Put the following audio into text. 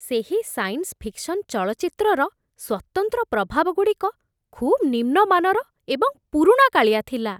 ସେହି science fiction ଚଳଚ୍ଚିତ୍ରର ସ୍ୱତନ୍ତ୍ର ପ୍ରଭାବଗୁଡ଼ିକ ଖୁବ୍ ନିମ୍ନ ମାନର ଏବଂ ପୁରୁଣାକାଳିଆ ଥିଲା!